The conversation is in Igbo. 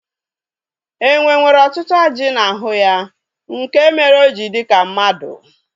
Enwe nwere ọtụtụ ajị n'ahụ ya nke mere o ji dị ka mmadụ